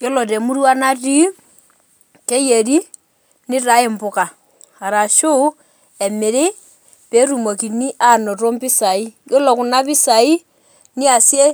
Yiolo temurua natii, keyieri, nitaai impuka. Arashu, emiri, petumokini anoto mpisai. Yiolo kuna pisai, niasie